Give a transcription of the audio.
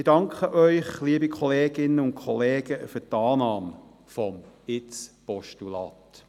Ich danke Ihnen, liebe Kolleginnen und Kollegen, für die Annahme des Postulats.